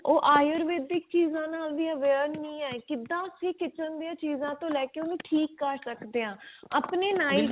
ਉਹ ayurveda ਚੀਜ਼ਾਂ ਨਾਲ ਵੀ aware ਨਹੀਂ ਹੈ ਕਿਦਾਂ kitchen ਦੀਆਂ ਚੀਜਾ ਤੋਂ ਲੈ ਕੇ ਤੁਸੀਂ ਠੀਕ ਕਰ ਸਕਦੇ ਆਂ ਆਪਣੇ nineties ਦੇ time ਤੇ